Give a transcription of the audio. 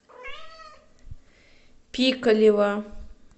пикалево